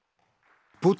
Pútín